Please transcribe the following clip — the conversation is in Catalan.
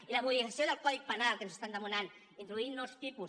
i la modificació del codi penal que ens estan demanant introduir nous tipus